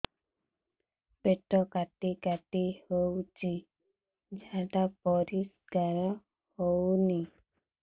ପେଟ କାଟି କାଟି ହଉଚି ଝାଡା ପରିସ୍କାର ହଉନି